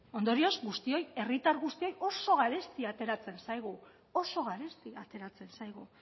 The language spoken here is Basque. ondorioz guztioi herritar guztioi oso garesti ateratzen zaigu oso garesti ateratzen zaigu